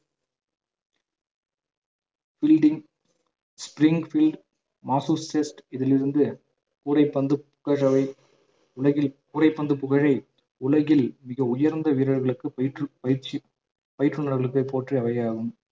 spring field Massachusetts இதிலிருந்து கூடைப்பந்து கூடைப்பந்து புகழை உலகில் மிக உயர்ந்த வீரர்களுக்கு பயிற்று பயிற்சி பயிற்றுனர்களுக்கு போற்றியவையாகும்